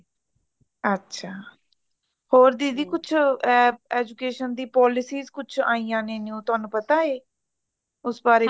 ਅੱਛਾ ਹੋਰ ਦੀਦੀ ਕੁੱਛ ਏ education ਦੀ policies ਕੁੱਛ ਆਈਆਂ ਨੇ new ਤੁਹਾਨੂੰ ਪਤਾ ਏ ਉਸ ਬਾਰੇਚ